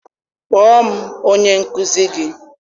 Kpọọ m onye nkuzi gị!